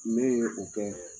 Min ye o kɛ